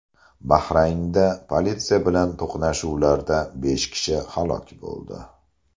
Bahraynda politsiya bilan to‘qnashuvlarda besh kishi halok bo‘ldi.